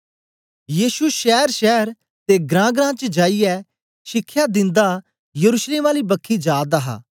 यीशु शैर शैर ते ग्रां ग्रां च जाईयै शिखया दिन्दा यरूशलेम आली बखी जा दा हा